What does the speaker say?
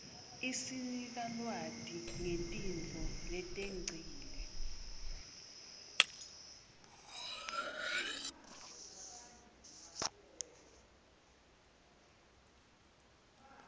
isnika lwati ngetintfo letengcile